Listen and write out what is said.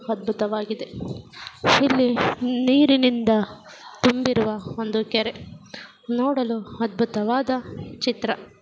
ಅದ್ಬುತವಾಗಿದೆ ಇಲ್ಲಿ ನೀರಿನಿಂದ ತುಂಬಿರುವ ಒಂದು ಕೆರೆ ನೋಡಲು ಅದ್ಬುತವಾದ ಚಿತ್ರ.